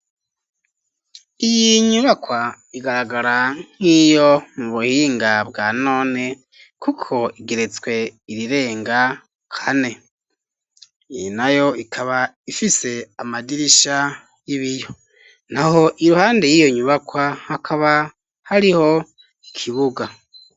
Iyi nyubakwa igaragara nk'iyo mu buhinga bwa none, kuko igeretswe irirenga kane, iyi nayo ikaba ifise amadirisha y'ibiyo na ho iruhande y'iyo nyubakwa hakaba hariho ikibuga.